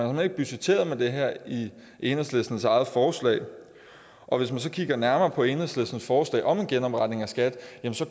man har ikke budgetteret med det her i enhedslistens eget forslag og hvis man så kigger nærmere på enhedslistens forslag om en genopretning af skat